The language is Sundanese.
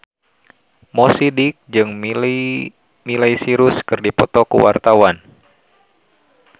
Mo Sidik jeung Miley Cyrus keur dipoto ku wartawan